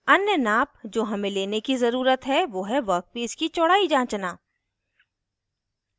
अन्य नाप जो हमें लेने की ज़रुरत है वो है वर्कपीस की चौड़ाई जांचना